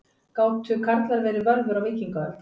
Gátu karlar verið völvur á víkingaöld?